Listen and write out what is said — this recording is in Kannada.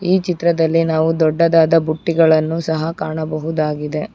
ಈ ಚಿತ್ರದಲ್ಲಿ ನಾವು ದೊಡ್ಡದಾದ ಬುಟ್ಟಿಗಳನ್ನು ಸಹ ಕಾಣಬಹುದಾಗಿದೆ.